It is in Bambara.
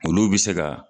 Olu bɛ se ka